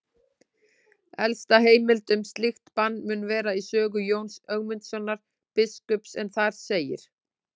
Elsta heimild um slíkt bann mun vera í sögu Jóns Ögmundssonar biskups en þar segir: